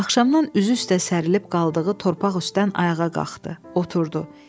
Axşamdan üzü üstə sərilip qaldığı torpaq üstdən ayağa qalxdı, oturdu.